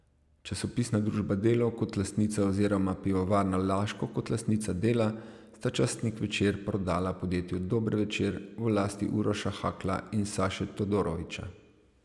Časopisna družba Delo kot lastnica oziroma Pivovarna Laško kot lastnica Dela sta časnik Večer prodala podjetju Dober Večer v lasti Uroša Hakla in Saše Todorovića.